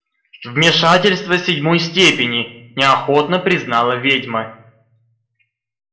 вмешательство седьмой степени неохотно признала ведьма